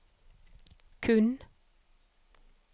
kun